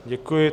Děkuji.